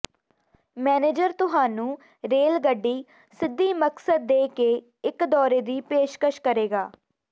manager ਤੁਹਾਨੂੰ rail ਗੱਡੀ ਸਿੱਧੀ ਮਕਸਦ ਦੇ ਕੇ ਇੱਕ ਦੌਰੇ ਦੀ ਪੇਸ਼ਕਸ਼ ਕਰੇਗਾ